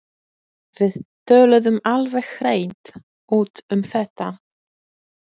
Við töluðum alveg hreint út um þetta.